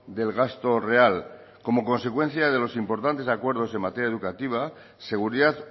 del gasto real como consecuencia de los importantes acuerdos en materia educativa seguridad